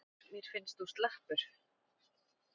Mér finnst þú slappur.